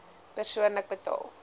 persoonlik betaal